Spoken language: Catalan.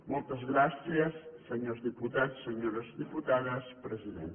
moltes gràcies senyors diputats senyores diputades president